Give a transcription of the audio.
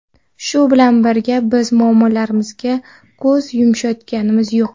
Shu bilan birga, biz muammolarimizga ko‘z yumayotganimiz yo‘q.